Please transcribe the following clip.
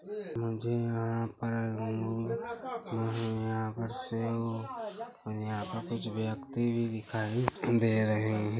मुझे यहाँ पर मुझे यहाँ पर सेब-- मुझे यहाँ पर कुछ व्यक्ति भी दिखाई दे रहे है ।